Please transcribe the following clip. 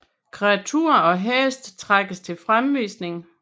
Kreaturer og heste trækkes til fremvisning